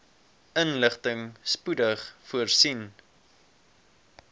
inligting spoedig voorsien